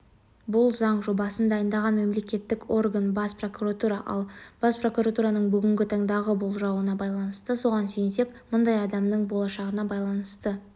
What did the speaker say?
бұл заң жобасын дайындаған мемлекеттік орган бас прокуратура ал бас прокуратураның бүгінгі таңдағы болжауына байланысты соған сүйенсек мыңдай адамның болашағына байланысты